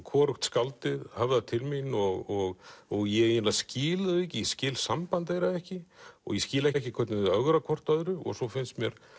hvorugt skáldið höfðar til mín og ég skil þau ekki ég skil samband þeirra ekki og ég skil ekki hvernig þau ögra hvort öðru og svo finnst mér